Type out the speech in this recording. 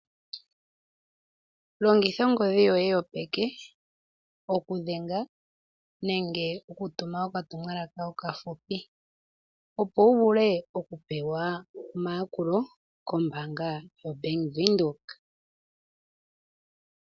Longitha ongodhi yoye yopeke, oku dhenga nenge oku tuma okatumwalaka okafupi, opo wu vule oku pewa omayakulo kombaanga yo Bank Widhoek.